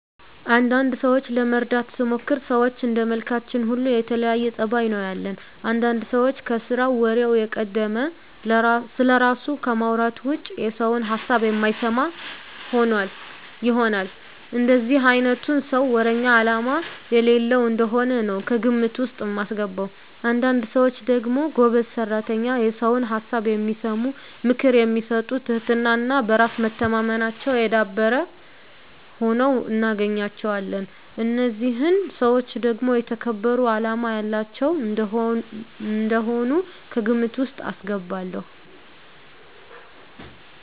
አንዳንድ ሰዎችን ለመረዳት ስሞክር ሰዎች እንደመልካችን ሁሉ የተለያየ ፀባይ ነው ያለን። አንዳንድ ሰው ከስራው ወሬው የቀደመ፣ ስለራሱ ከማውራት ውጭ የሰውን ሀሳብ የማይሰማ ይሆናል። እንደዚህ አይነቱን ሰው ወረኛ አላማ የሌለው እንደሆነ ነው ከግምት ውስጥ ማስገባው። አንዳንድ ሰዎች ደግሞ ጎበዝ ሰራተኛ፣ የሰውን ሀሳብ የሚሰሙ፣ ምክር የሚሰጡ ትህትና እና በራስ መተማመናቸው የዳበረ ሁነው እናገኛቸዋለን። እነዚህን ሰዎች ደግሞ የተከበሩ አላማ ያላቸው እንደሆኑ ከግምት ውስጥ አስገባለሁ።